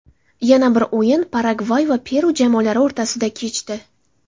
Yana bir o‘yin Paragvay va Peru jamoalari o‘rtasida kechdi.